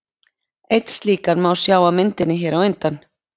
Einn slíkan má sjá á myndinni hér á undan.